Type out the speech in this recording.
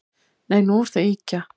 Nei, nú ertu að ýkja